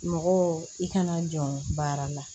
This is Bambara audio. Mɔgɔw i kana jɔ baara la